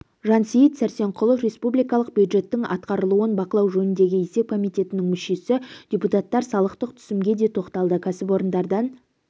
жансейіт сәрсенқұлов республикалық бюджеттің атқарылуын бақылау жөніндегі есеп комитетінің мүшесі депутатар салықтық түсімге де тоқталды кәсіпорындардан